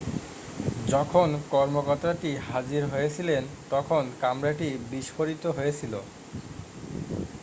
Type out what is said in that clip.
যখন কর্মকতাটি হাজির হয়েছিলেন তখন কামরাটি বিস্ফোরিত হয়েছিল